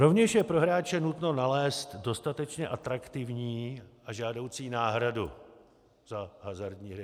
Rovněž je pro hráče nutno nalézt dostatečně atraktivní a žádoucí náhradu za hazardní hry.